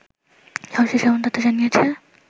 সব শেষে এমন তথ্য জানিয়েছে